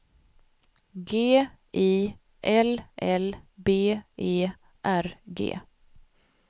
G I L L B E R G